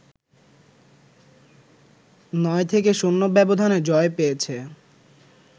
৯-০ ব্যবধানে জয় পেয়েছে